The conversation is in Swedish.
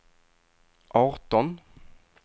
arton